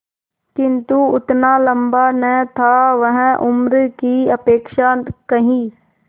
किंतु उतना लंबा न था वह उम्र की अपेक्षा कहीं